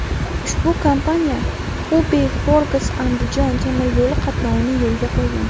Ushbu kompaniya Xubey–Xorgas–Andijon temir yo‘li qatnovini yo‘lga qo‘ygan.